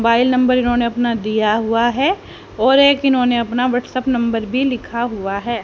Mobile number इन्होंने अपना दिया हुआ है और एक इन्होंने अपना व्हाट्सएप नंबर भी लिखा हुआ है।